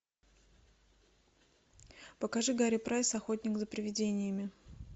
покажи гарри прайс охотник за привидениями